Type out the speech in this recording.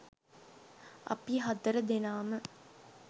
අපි හතර දෙනාම